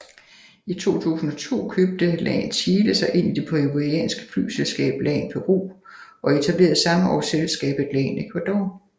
I 2002 købte LAN Chile sig ind i det peruvianske flyselskab LAN Peru og etablerede samme år selskabet LAN Ecuador